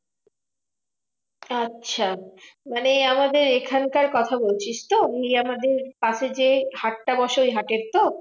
আচ্ছা মানে আমাদের এখানকার কথা বলছিস তো? ওই আমাদের পাশে যে হাটটা বসে সেই হাটের তো?